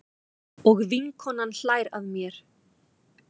Og vinkonan hlær að mér.